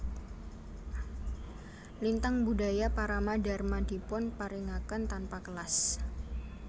Lintang Budaya Parama Dharma dipun paringaken tanpa kelas